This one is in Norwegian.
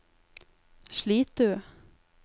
Slitu